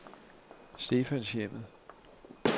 Stefanshjemmet